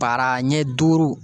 Para ɲɛ duuru